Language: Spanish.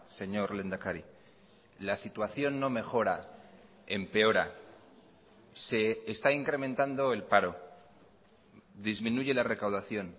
señor lehendakari la situación no mejora empeora se está incrementando el paro disminuye la recaudación